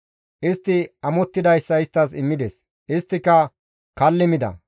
Istti amottidayssa isttas immides; isttika kalli mida.